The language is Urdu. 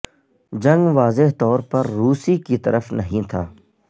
جنگ واضح طور پر روسی کی طرف نہیں تھا